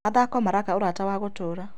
Mathako maraka ũrata wa gũtũũra.